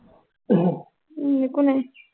উম একো নাই